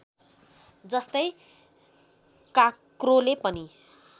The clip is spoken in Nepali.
जस्तै काँक्रोले पनि